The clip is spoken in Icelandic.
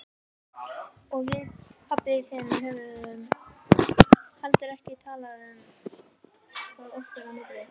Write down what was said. Og við pabbi þinn höfum heldur ekki talað um það okkar á milli.